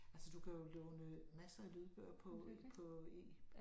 Altså du kan jo låne masser af lydbøger på på E